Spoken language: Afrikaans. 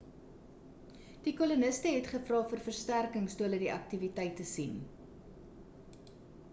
die koloniste het gevra vir versterkings toe hulle die aktiwiteite sien